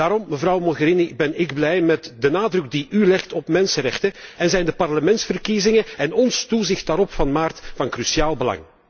Daarom, mevrouw Mogherini, ben ik blij met de nadruk die u legt op mensenrechten en zijn de parlementsverkiezingen van maart en ons toezicht daarop van cruciaal belang.